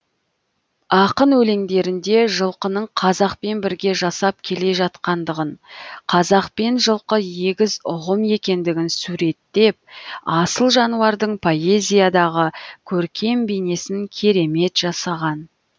ақын өлеңдерінде жылқының қазақпен бірге жасап келе жатқандығын қазақ пен жылқы егіз ұғым екендігін суреттеп асыл жануардың поэзиядағы көркем бейнесін керемет жасаған